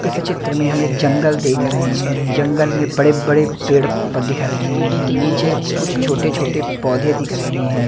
इस चित्र में हम एक जंगल देख रहे हैं जंगल में बड़े बड़े पेड़ दिख रहे हैं नीचे कुछ छोटे छोटे पौधे दिख रहे हैं।